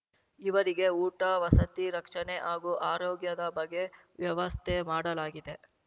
ಇವರಿಗೆ ಊಟ ವಸತಿ ರಕ್ಷಣೆ ಹಾಗೂ ಆರೋಗ್ಯದ ಬಗ್ಗೆ ವ್ಯವಸ್ಥೆ ಮಾಡಲಾಗಿದೆ